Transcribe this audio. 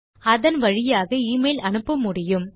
அதன் வழியாக எமெயில் அனுப்ப முடியும்